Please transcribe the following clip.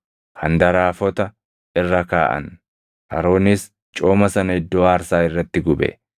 handaraafota irra kaaʼan; Aroonis cooma sana iddoo aarsaa irratti gube.